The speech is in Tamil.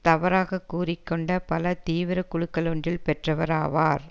தவறாக கூறி கொண்ட பல தீவிர குழுக்கள் ஒன்றில் பெற்றவர் ஆவார்